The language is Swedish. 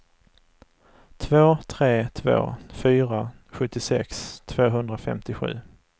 två tre två fyra sjuttiosex tvåhundrafemtiosju